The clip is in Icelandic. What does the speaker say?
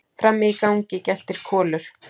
Frammi í gangi geltir Kolur.